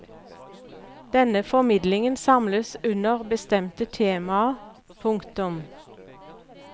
Denne formidlingen samles under bestemte temaer. punktum